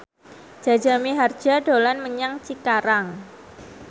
Jaja Mihardja dolan menyang Cikarang